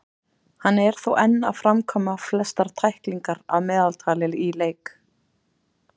Hann er þó enn að framkvæma flestar tæklingar að meðaltali í leiks.